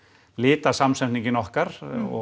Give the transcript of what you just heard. litasamsetningin okkar og